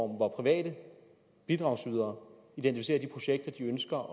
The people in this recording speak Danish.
hvor private bidragsydere identificerer de projekter de ønsker